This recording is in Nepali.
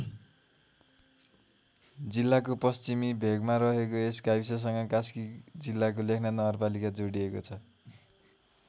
जिल्लाको पश्चिमी भेगमा रहेको यस गाविससँग कास्की जिल्लाको लेखनाथ नगरपालिका जोडिएको छ।